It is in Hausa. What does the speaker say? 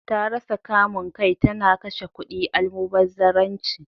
Ta rasa kamun kai, ta na kashe kudi almubazzararanci.